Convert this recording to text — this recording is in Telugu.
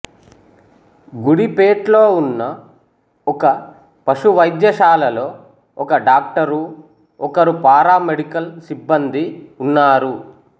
గుడిపేట్లో ఉన్న ఒక పశు వైద్యశాలలో ఒక డాక్టరు ఒకరు పారామెడికల్ సిబ్బందీ ఉన్నారు